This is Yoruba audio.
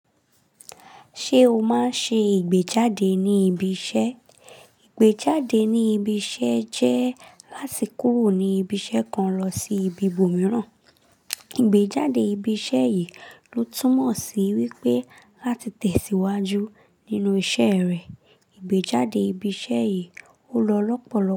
Ṣé o máa ń ṣe ìgbéjáde ní ibi iṣẹ́? Ìgbéjáde ní ibi iṣẹ́ jẹ́ láti kúrò ní ibi iṣẹ́ kan lọ sí ibi ibòmíràn. Ìgbéjáde ibi iṣẹ́ yìí ló túmọ̀ sí wípé láti tẹ̀síwájú nínú iṣẹ́ rẹ. Ìgbéjáde ibi iṣẹ́ yìí ó lọ lọ́pọ̀lọpọ̀